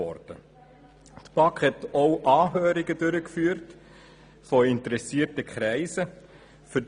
Zudem führte die BaK Anhörungen von interessierten Kreisen durch.